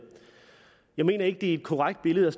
jeg mener ikke det er et korrekt billede